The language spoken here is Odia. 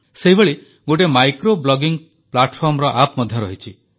ସେହିଭଳି ଗୋଟିଏ ମାଇକ୍ରୋ ବ୍ଲଗିଂ ପ୍ଲାଟଫର୍ମର ଆପ୍ ମଧ୍ୟ ରହିଛି